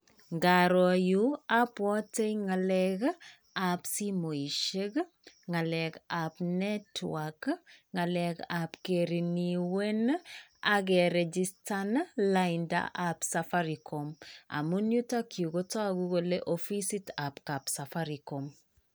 Ngaroo yu abwotei ng'alekab simoisiek, ng'alekab Network, ng'alekab kereneuwen ak keregistan laindab Safaricom. Amun yutok yu kotagu kele ofisitap kap Safaricom.